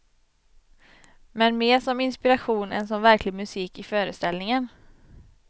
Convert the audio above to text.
Men mer som inspiration än som verklig musik i föreställningen.